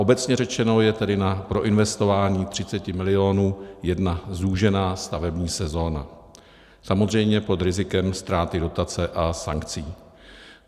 Obecně řečeno je tedy na proinvestování 30 mil. jedna zúžená stavební sezóna, samozřejmě pod rizikem ztráty dotace a sankcí.